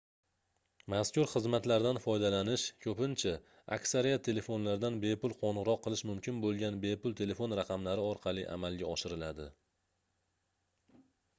mazkur xizmatlardan foydalanish koʻpincha aksariyat telefonlardan bepul qoʻngʻiroq qilish mumkin boʻlgan bepul telefon raqamlari orqali amalga oshiriladi